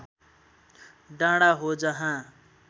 डाँडा हो जहाँ